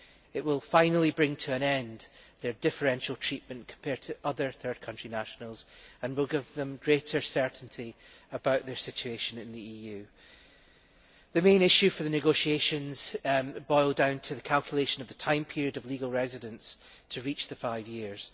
It will finally bring to an end their differential treatment compared to other third country nationals and will give them greater certainty about their situation in the EU. The main issue for the negotiations boiled down to the calculation of the time period of legal residence to reach the five years.